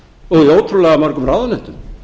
og á ótrúlega mörgum ráðuneytum